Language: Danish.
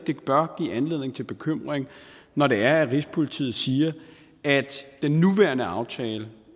bør give anledning til bekymring når det er at rigspolitiet siger at den nuværende aftale